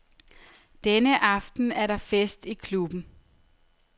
Denne aften er der fest i klubben.